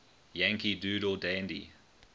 yankee doodle dandy